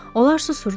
Onlar susurdular.